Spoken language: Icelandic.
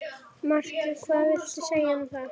Markið hvað viltu segja um það?